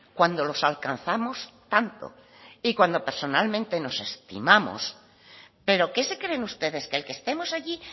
cuando los alcanzamos tanto y cuando personalmente nos estimamos pero qué se creen ustedes que el que estemos allí